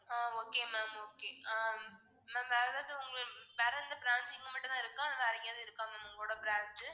ஆஹ் okay ma'am okay hmm ma'am வேற ஏதாவது உங்க வேற எந்த branch இங்க மட்டுந்தான் இருக்கா இல்ல வேற எங்கேயாவது இருக்கா ma'am உங்களோட branch